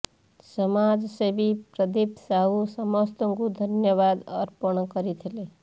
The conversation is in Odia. ସମାଜସେବୀ ପ୍ରଦୀପ ସାହୁ ସମସ୍ତ ଙ୍କୁ ଧନ୍ୟବାଦ ଅର୍ପଣ କରିଥିଲେ